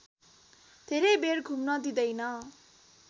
धेरै बेर घुम्न दिँदैन